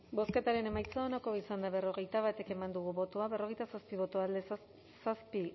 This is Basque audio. bozketaren emaitza onako izan da berrogeita bat eman dugu bozka berrogeita zazpi boto alde zazpi